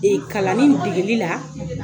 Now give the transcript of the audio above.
kalanin degeli la.